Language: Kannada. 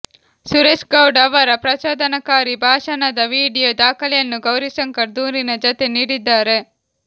ಸುರೇಶ್ಗೌಡ ಅವರ ಪ್ರಚೋದನಕಾರಿ ಭಾಷಣದ ವಿಡಿಯೊ ದಾಖಲೆಯನ್ನು ಗೌರಿಶಂಕರ್ ದೂರಿನ ಜತೆ ನೀಡಿದ್ದಾರೆ